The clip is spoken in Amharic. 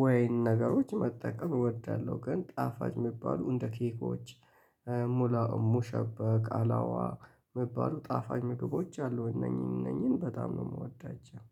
ወይን ነገሮች መጠቀም እወዳለሁ። ግን ጣፋጭ የሚባሉ እንደ ኬኮች ሙላ ሙሸበቅ አላዋ ምባሉ ጣፋኝ ምግቦች አሉ እነኚህን እነኚህን በጣም ነው የምወዳቸው